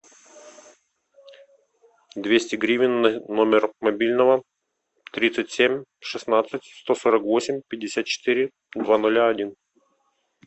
двести гривен на номер мобильного тридцать семь шестнадцать сто сорок восемь пятьдесят четыре два нуля один